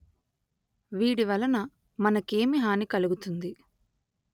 వీడి వలన మనకేమి హాని కలుగుతుంది